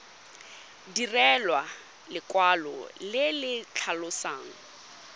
direlwa lekwalo le le tlhalosang